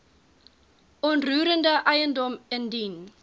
onroerende eiendom indien